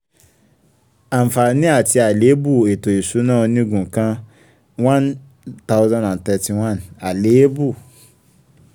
àǹfààní àti àléébù ètò ìṣúná onígun kan. one thousand thirty one àléébù